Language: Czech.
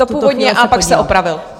To původně, ale pak se opravil.